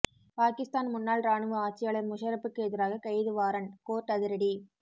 பாகிஸ்தான் முன்னாள் ராணுவ ஆட்சியாளர் முஷரப்புக்கு எதிராக கைது வாரண்ட் கோர்ட்டு அதிரடி